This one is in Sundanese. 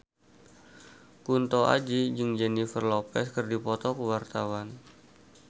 Kunto Aji jeung Jennifer Lopez keur dipoto ku wartawan